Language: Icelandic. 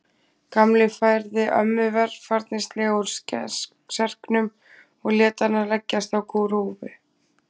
Gamli færði ömmu varfærnislega úr serknum og lét hana leggjast á grúfu.